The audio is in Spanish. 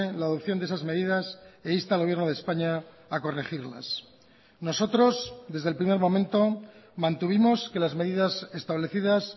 la adopción de esas medidas e insta al gobierno de españa a corregirlas nosotros desde el primer momento mantuvimos que las medidas establecidas